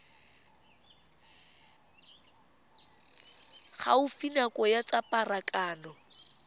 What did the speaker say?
gaufi nao ya tsa pharakano